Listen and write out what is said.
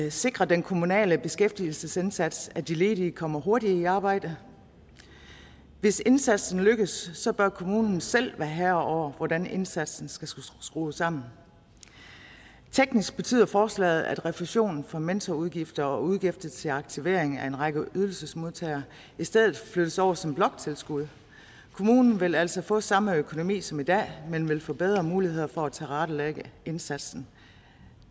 at sikre at den kommunale beskæftigelsesindsats betyder at de ledige kommer hurtigere i arbejde hvis indsatsen lykkes bør kommunen selv være herre over hvordan indsatsen skal skrues sammen teknisk betyder forslaget at refusionen for mentorudgifter og udgifter til aktivering af en række ydelsesmodtagere i stedet flyttes over som bloktilskud kommunen vil altså få samme økonomi som i dag men vil få bedre mulighed for at tilrettelægge indsatsen